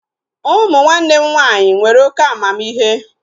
Ụmụ nwanne m nwaanyị nwere oké amamihe